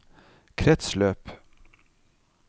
kretsløp